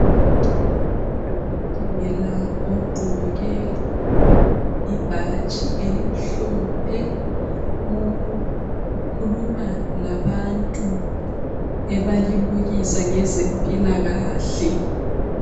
Udokotela ogqoke ibhatshi elimhlophe ukhuluma labantu ebalimukisa ngezempilakahle.